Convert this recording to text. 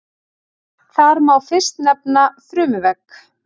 Þar má fyrst nefna frumuvegg.